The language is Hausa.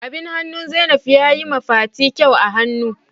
Abin hannun Zainab ya yi ma fati kyau a hannu.